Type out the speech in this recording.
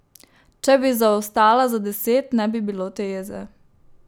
Če bi zaostala za deset, ne bi bilo te jeze.